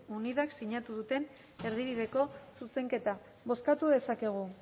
unidak sinatu duten erdibideko zuzenketa bozkatu dezakegu